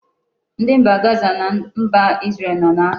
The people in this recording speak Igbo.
Ndi mba Gaza na mba Isreal no na-agha